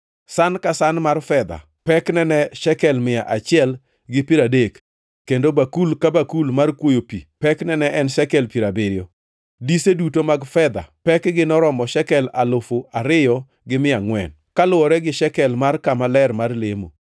San ka san mar fedha pekne ne en shekel mia achiel gi piero adek, kendo bakul ka bakul mar kwoyo pi pekne ne en shekel piero abiriyo. Dise duto mag fedha pekgi noromo shekel alufu ariyo gi mia angʼwen (2,400), kaluwore gi shekel mar kama ler mar lemo.